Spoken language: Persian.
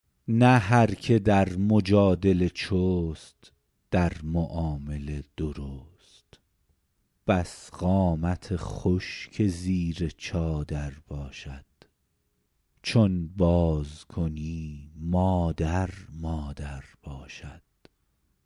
نه هر که در مجادله چست در معامله درست بس قامت خوش که زیر چادر باشد چون باز کنی مادر مادر باشد